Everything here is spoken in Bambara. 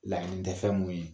Laɲini tɛ fɛn mun ye.